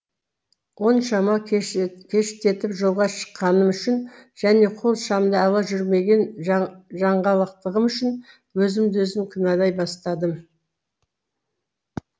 оншама кештетіп жолға шыққаным үшін және қол шамды ала жүрмеген жаңғалақтығым үшін өзімді өзім кінәлай бастадым